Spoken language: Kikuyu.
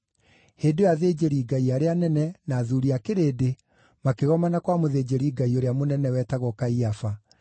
Hĩndĩ ĩyo athĩnjĩri-Ngai arĩa anene na athuuri a kĩrĩndĩ makĩgomana kwa mũthĩnjĩri-Ngai ũrĩa mũnene, wetagwo Kaiafa,